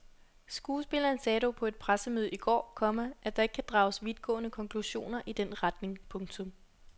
Skuespilleren sagde dog på et pressemøde i går, komma at der ikke kan drages vidtgående konklusioner i den retning. punktum